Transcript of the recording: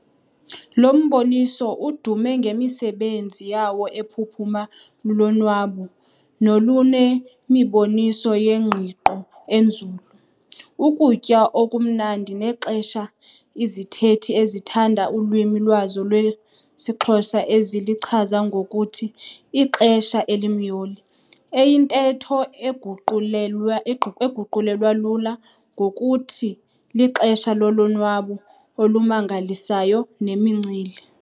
Lo mboniso udume ngemisebenzi yawo ephuphuma lulonwabo, nolunemiboniso yengqiqo enzulu, ukutya okumnandi nexesha izithethi ezithanda ulwimi lwazo lwesiXhosa ezilichaza ngokuthi 'ixesha elimyoli', eyintetho eguqulelwa eguqulelwa lula ngokuthi lixesha lolonwabo olumangalisayo nemincili.